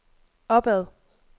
opad